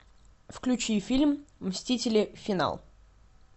включи фильм мстители финал